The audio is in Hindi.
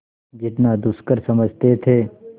जितना दुष्कर समझते थे